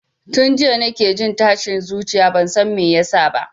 Tun jiya nake jin tashin zuciya bansan me yasa ba